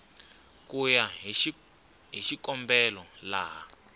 ku ya hi xikombelo laha